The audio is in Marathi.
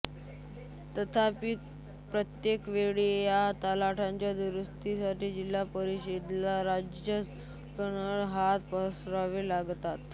तथापि प्रत्येक वेळी या तलावांच्या दुरुस्तीसाठी जिल्हापरिषदेला राज्यशासनाकडे हात पसरावे लागतात